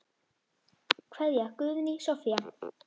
Kveðja, Guðný Soffía.